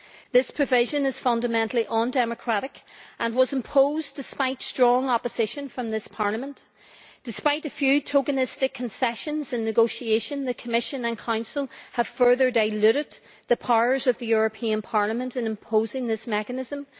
The provision is fundamentally undemocratic and was imposed despite strong opposition from this Parliament. Despite a few token concessions in negotiation, the Commission and Council have further diluted the powers of the European Parliament in imposing this mechanism.